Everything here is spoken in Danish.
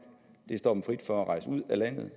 det står dem frit for at rejse ud af landet